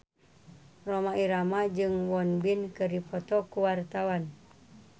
Rhoma Irama jeung Won Bin keur dipoto ku wartawan